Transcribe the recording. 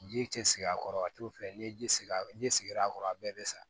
Ji cɛ a kɔrɔ a t'o fɛ n'i ye ji sigi a n'i sigira a kɔrɔ a bɛɛ bɛ sa